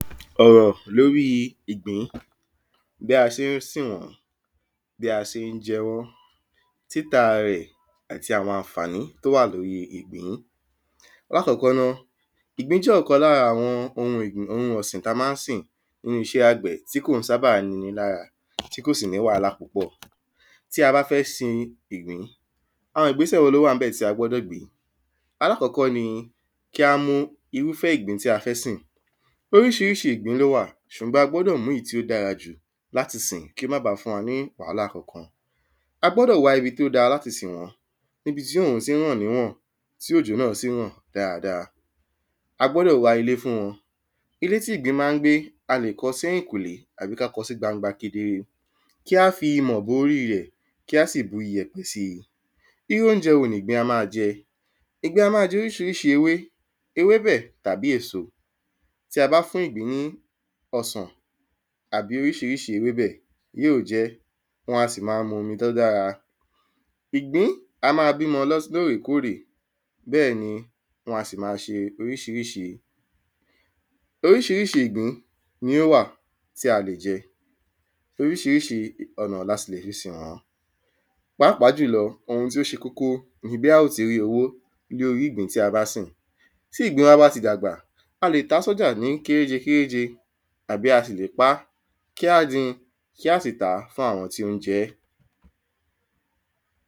Ọ̀rọ̀ l’órí ìgbín Bí a ṣé n sìn wọ́n Bí a ṣé ń jẹ wọ́n Títà rẹ̀ àti àwọn ànfàni t'o wà l'órí ìgbín L’ákọ́kọ́ ná, ìgbín jẹ́ pọ̀kan l’ára àwọn ohun ọ̀sìn t’a má ń sìn n'ínú iṣẹ́ àgbẹ̀ tí kò ń sábà ni ‘ni l'ára tí kò sì ní wálá pupọ̀. Tí a bá fẹ́ sin ìgbín, àwọn ìgbésẹ̀ l’ó wà ń bẹ̀ tí a gbọ́dọ̀ gbé Alákọ́kọ́ ni kí á mú irúfẹ́ ìgbín tí a fẹ́ gbìn Oríṣiríṣi ìgbín l’ó wà ṣùgbọ́n a gbúdọ̀ mú ìyí tí ó dára jù l'á ti sìn kí ó má ba fún wa ni wálá kankan. A gbọ́dọ̀ wá ibi t’ó da l'áti sìn wọ́n. Ibi tí òrùn tí ràn ní wọ̀n tí òjò náà tí ń rọ̀ dada A gbọ́dọ̀ wá ilé fún wọn. Ilé tí ìgbín má ń gbé a lè kọ sí ẹ̀yìnkùlé àbí ká kọ sí gbangba kedere. Kí á fi ìmọ̀ bo orí rẹ̀ Kí á sì bu iyẹ̀pẹ̀ si. Irú óunjẹ wo ni ìgbín a má jẹ? Ìgbín a má jẹ oríṣiríṣi ewé, ewébẹ̀ tàbí èso. Tí a bá fún ìgbín ní ọsàn àbí oríṣiríṣi ewébẹ̀, yí ó jẹ́ Wọ́n a sì ma mu omi t’ó dára. Ìgbín a má b’ímọ lóòrè kóòrè Bẹ́ẹ̀ ni wọn a sì ma ṣe oríṣiríṣi. Oríṣiríṣi ni ó wà tí a lè jẹ. Oríṣiríṣi ọ̀nà ni a sì lè fi sìn wọ́n. Paápàá jùlọ ohun tí ó ṣe kókó ni bí a ó ti rí owó ní orí ìgbín tí a bá sìn. Tí ìgbín wa bá ti dàgbà, a lè tà s’ọ́já ní kéréje kéréje Àbí a sì lè pá kí á din. Kí a sìta fún àwọn tí ó ń jẹ́